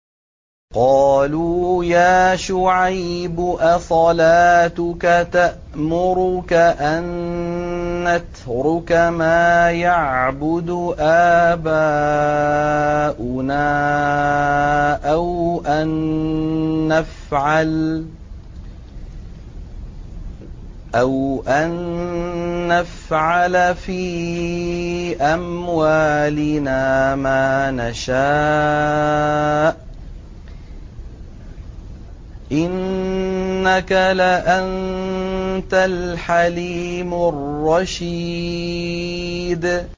قَالُوا يَا شُعَيْبُ أَصَلَاتُكَ تَأْمُرُكَ أَن نَّتْرُكَ مَا يَعْبُدُ آبَاؤُنَا أَوْ أَن نَّفْعَلَ فِي أَمْوَالِنَا مَا نَشَاءُ ۖ إِنَّكَ لَأَنتَ الْحَلِيمُ الرَّشِيدُ